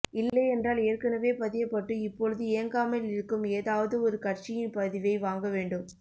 இல்லையென்றால் ஏற்கனவே பதியப்பட்டு இப்பொழுது இயங்காமலிருக்கும் ஏதாவது ஒரு கட்சியின் பதிவை வாங்க வேண்டும்